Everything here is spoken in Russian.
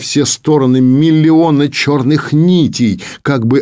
все стороны миллионы черных нитей как бы